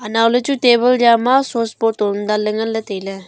anow ley chu table jama souce bottle dan ley ngan ley tai ley.